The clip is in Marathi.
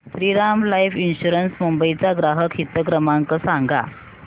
श्रीराम लाइफ इन्शुरंस मुंबई चा ग्राहक हित क्रमांक सांगा